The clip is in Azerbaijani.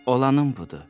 Olanın budur.